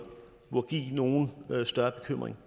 give nogen større bekymring